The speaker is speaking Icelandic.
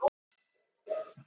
Ofan markanna er hraði